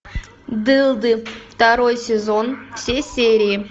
дылды второй сезон все серии